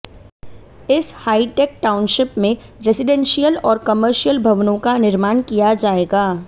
इस hitech township में residential और कर्मिशयल भवनों का निर्माण किया जाएगा